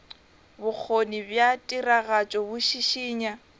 bokgoni bja tiragatšo bo šišinya